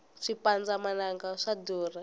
swipandza mananga swa durha